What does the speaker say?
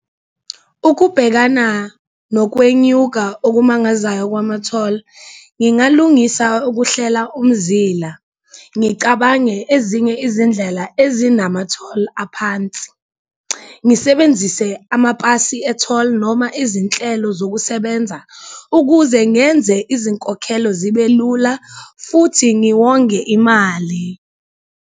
Ukubhekana nokwenyuka okumangazayo kwamatholi ngingalungisa ukuhlela umzila, ngicabange ezinye izindlela ezinamatholi aphansi, ngisebenzise amapasi etholi noma izinhlelo zokusebenza ukuze ngenze izinkokhelo zibe lula futhi ngiwonge imali.